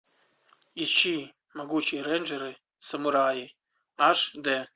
ищи могучие рейнджеры самураи аш дэ